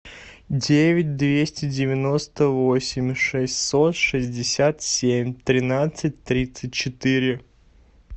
девять двести девяносто восемь шестьсот шестьдесят семь тринадцать тридцать четыре